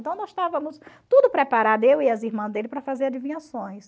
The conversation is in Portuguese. Então nós estávamos tudo preparado, eu e as irmãs dele, para fazer adivinhações.